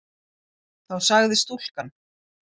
Þá sagði stúlkan